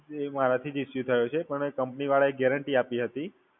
એ મારાથી જ issue થયો છે. પણ એ Company વાળા એ guarantee આપી હતી.